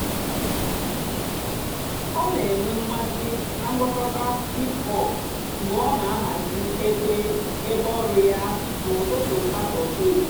ọ́ nà-ènwé m̀másị́ nà ǹgwàkọ̀tá hìp-hòp mg̀bé ọ́ nà-àhàzị́ èbé èbé ọ̀rụ́ yá n'ụ́tụtụ́ sàtọ́dé.